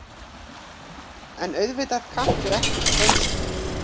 En auðvitað kanntu ekki spönsku.